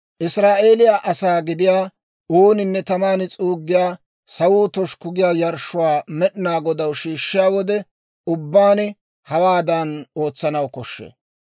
Israa'eeliyaa asaa gidiyaa ooninne taman s'uuggiyaa, sawuwaa toshukku giyaa yarshshuwaa Med'inaa Godaw shiishshiyaa wode ubbaan, hawaadan ootsanaw koshshee.